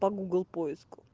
по гугл поиску